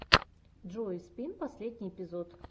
джои спин последний эпизод